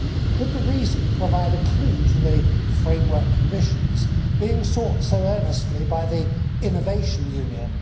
Could the reason provide a clue to the framework conditions being sought so earnestly by the Innovation Union?